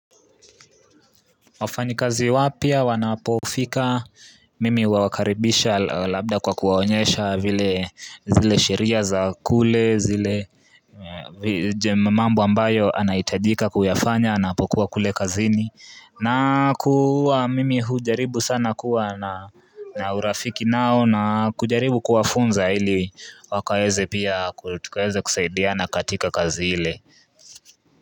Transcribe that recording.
Wafanyikazi wapya wanapofika mimi huwakaribisha labda kwa kuwaonyesha zile sheria za kule, mambo ambayo anahitajika kuyafanya anapokuwa kule kazini mimi hujaribu sana kuwa na na urafiki nao na kujaribu kuwafunza ili pia kutukaweze kusaidiana katika kazi ile.